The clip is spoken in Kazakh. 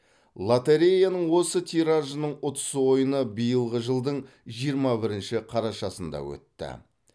лотореяның осы тиражының ұтыс ойыны биылғы жылдың жиырма бірінші қарашасында өтті